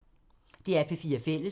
DR P4 Fælles